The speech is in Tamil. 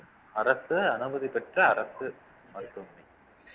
அரசு அனுமதி பெற்ற அரசு மருத்துவமனை